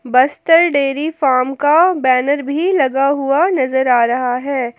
Bastar dairy farm banner भी लगा हुआ नजर आ रहा है।